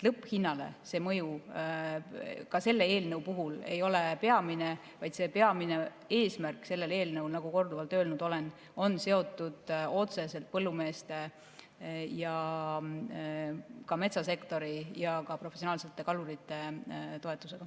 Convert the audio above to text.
Lõpphinnale see mõju ka selle eelnõu puhul ei ole peamine, vaid peamine eesmärk sellel eelnõul, nagu korduvalt olen öelnud, on seotud otseselt põllumeeste ja ka metsasektori ja ka professionaalsete kalurite toetusega.